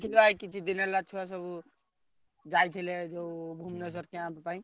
ଛୁଆ କିଛି ଦିନି ହେଲା ଛୁଆ ସବୁ ଯାଇଥିଲେ ସବୁ ଭୁବନେଶ୍ବର camp ପାଇଁ।